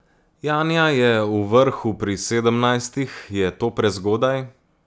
Janja je v vrhu pri sedemnajstih, je to prezgodaj?